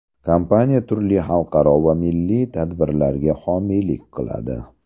Kompaniya turli xalqaro va milliy tadbirlarga homiylik qiladi.